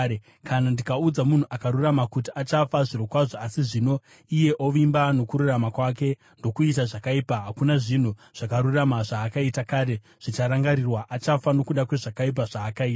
Kana ndikaudza munhu akarurama kuti achafa zvirokwazvo, asi zvino iye ovimba nokururama kwake, ndokuita zvakaipa, hakuna zvinhu zvakarurama zvaakaita kare zvicharangarirwa; achafa nokuda kwezvakaipa zvaakaita.